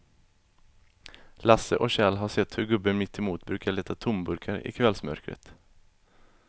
Lasse och Kjell har sett hur gubben mittemot brukar leta tomburkar i kvällsmörkret.